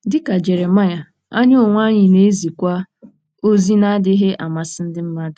Dị ka Jeremaịa, anyị onwe anyị na-ezikwa ozi na-adịghị amasị ndị mmadụ.